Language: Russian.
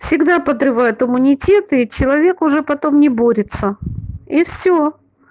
всегда подрывают иммунитет и человек уже потом не борется и все